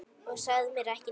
Og sagðir mér ekki neitt!